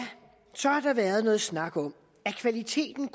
så har der været noget snak om er kvaliteten